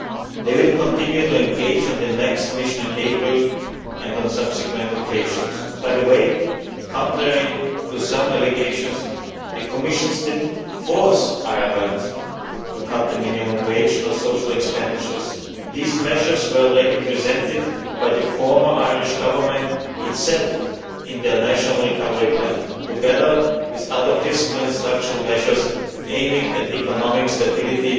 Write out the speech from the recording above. They will continue to engage on the next mission in April and on subsequent occasions. By the way, contrary to some allegations, the Commission did not force Ireland to cut the minimum wage or social expenditure. These measures were already presented by the former Irish Government itself in its national recovery plan, together with other fiscal and structural measures aiming at economic stability,